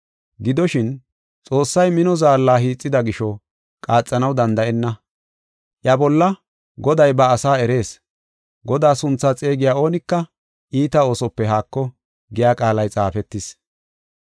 Gidoshin, Xoossay mino zaalla hiixida gisho qaaxanaw danda7enna. Iya bolla, “Goday ba asaa erees. Godaa sunthaa xeegiya oonika iita oosope haako” giya qaalay xaafetis.